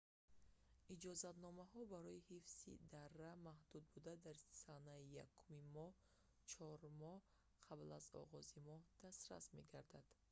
иҷозатномаҳо барои ҳифзи дара маҳдуд буда дар санаи 1-уми моҳ чор моҳ қабл аз оғози моҳ дастрас мегарданд